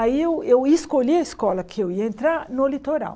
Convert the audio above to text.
Aí eu eu escolhi a escola que eu ia entrar no litoral.